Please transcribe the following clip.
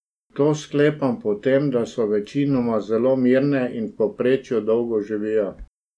To sklepam po tem, da so večinoma zelo mirne in v povprečju dolgo živijo.